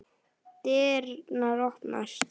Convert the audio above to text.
Dyrnar opnast.